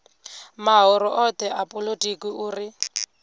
mahoro othe a polotiki uri